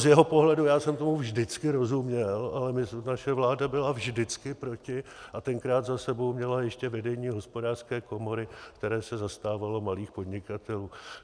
Z jeho pohledu já jsem tomu vždycky rozuměl, ale naše vláda byla vždycky proti, a tenkrát za sebou měla ještě vedení Hospodářské komory, které se zastávalo malých podnikatelů.